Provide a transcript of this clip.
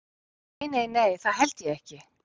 Nei, nei, nei, það held ég ekki